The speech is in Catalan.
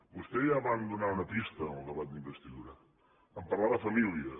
vostè ja va donar una pista en el debat d’investidura en parlar de família